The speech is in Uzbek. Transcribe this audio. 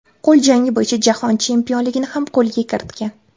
Qo‘l jangi bo‘yicha Jahon chempionligini ham qo‘lga kiritgan.